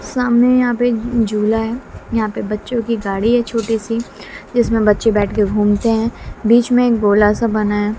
सामने यहां पे एक झूला है यहां पे बच्चों की गाड़ी है छोटी सी जिसमें बच्चे बैठ के घूमते है बीच में एक गोला सा बना है।